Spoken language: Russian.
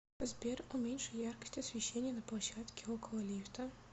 сбер уменьши яркость освещения на площадке около лифта